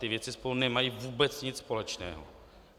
Ty věci spolu nemají vůbec nic společného.